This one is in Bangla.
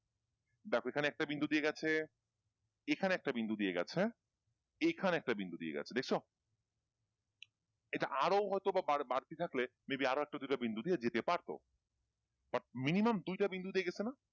দেখো এখানে একটা বিন্দু দিয়ে গেছে, এখানে একটা বিন্দু দিয়ে গেছে, এখানে একটা বিন্দু দিয়ে গেছে দেখছো? এইটা আরও হয়তোবা বাড়তি থাকলে may be আরও একটা দুইটা বিন্দু দিয়ে যেতে পারত but minimum দুইটা বিন্দু দিয়ে গেছে না?